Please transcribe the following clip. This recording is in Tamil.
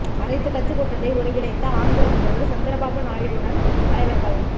அனைத்துக் கட்சிக் கூட்டத்தை ஒருங்கிணைத்த ஆந்திர முதல்வர் சந்திரபாபு நாயுடுவுடன் தலைவர்கள்